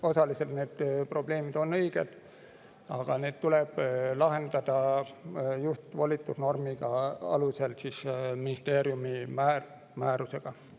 Osaliselt on need probleemid, aga neid tuleb lahendada just volitusnormi alusel ministri määrusega.